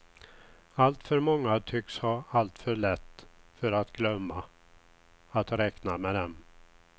Alltför många tycks ha alltför lätt för att glömma att räkna med dem.